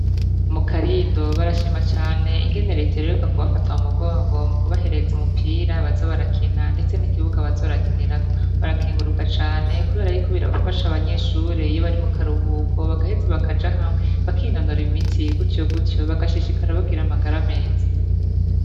Mu Karindo barashima cane, ingene reta iheruka kubafata mu mugongo mukubahereza umupira baza barakina ndetse nikibuga baza barakinirako barakenguruka cane Kubera Yuko birafasha abanyeshure iyo bari mu karuhuko bagaheza bakaja hamwe bakinonora imitsi gucoguco bagashishikara bagira amagara meza.